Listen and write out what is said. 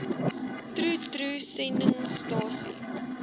troe troe sendingstasie